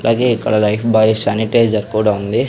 అలాగే ఇక్కడ Lifebuoy sanitiser కూడా ఉంది.